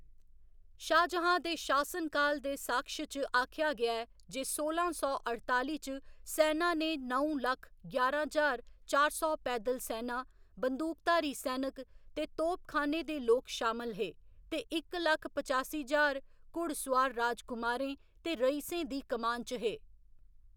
शाहजहां दे शासनकाल दे साक्ष्य च आखेआ गेआ ऐ जे सोलां सौ अठताली च सैना च नौ लक्ख ञारां ज्हार चार सौ पैद्दल सैना, बंदूकधारी सैनक, ते तोपखाने दे लोक शामल हे, ते इक लक्ख पचासी ज्हार घुड़सोआर राजकुमारें ते रईसें दी कमान च हे।